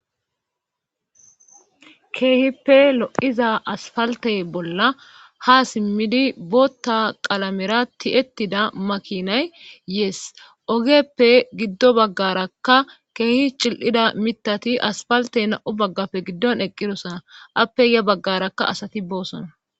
keehippe lo7iza asfaltey bolla ha simmidi bootta qalamera ti7ettida makinay yees ogeppe giddo baggarakka keehi cil7ida mitati asfaltey na7u baggafe giddon eqqirosana appeya baggarakka asati boosona